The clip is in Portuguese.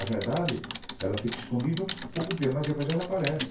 A verdade fica escondida um pouco de tempo, mas depois ela aparece.